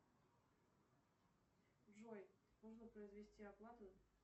джой нужно произвести оплату